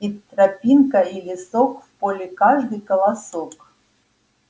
и тропинка и лесок в поле каждый колосок